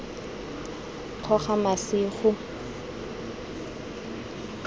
kgogamasigo